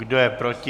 Kdo je proti?